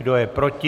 Kdo je proti?